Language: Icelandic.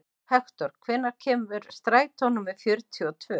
Hektor, hvenær kemur strætó númer fjörutíu og tvö?